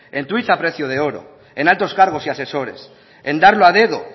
en a precio de oro en altos cargos y asesores en darlo a dedo